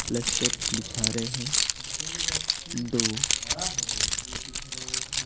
plaster बिछा रहे हैं दो --